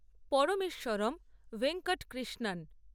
Parameswaram Venkatakrishnan